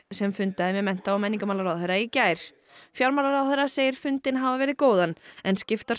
sem fundaði með mennta og menningarmálaráðherra í gær fjármálaráðherra segir fundinn hafa verið góðan en skiptar